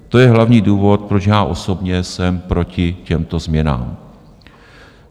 To je hlavní důvod, proč já osobně jsem proti těmto změnám.